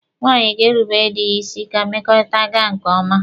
Nwaanyị ga-erubere dị ya isi ka mmekọrịta gaa nke ọma.